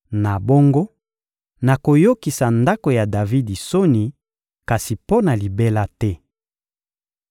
Na bongo, nakoyokisa ndako ya Davidi soni, kasi mpo na libela te.›»